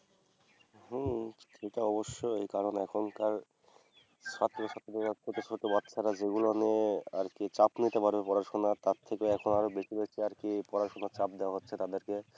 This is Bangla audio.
হম সে তো অবশ্যই কারণ এখনকার ছাত্রছাত্রীরা ছোটছোট বাচ্চারা যেগুলা নিয়ে আর কি চাপ নিতে পারবে পড়াশুনার তার থেকে এখন আরও বেশি হইসে আর কি পড়াশুনার চাপ দেওয়া হচ্ছে তাদেরকে।